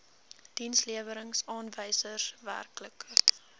dienslewerings aanwysers werklike